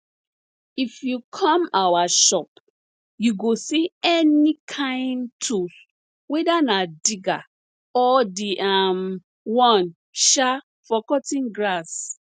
if you come our shop you go see any kain tools whether na digger or the um one um for cutting grass